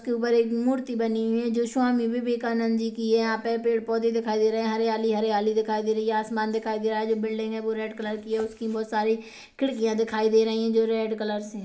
इसके ऊपर एक मूर्ति बनी हुई है जो स्वामी विवेकानंद जी की है यहाँ पर पेड़ - पौधे दिखाई दे रहे हैं हरयाली हरयाली दिखाई दे रही है आसमान दिखाई दे रहा है जो बिल्डिंग है वो रेड कलर की है उसकी बोहोत सारी खिड़कियाँ दिखाई दे रही है जो रेड कलर्स हैं।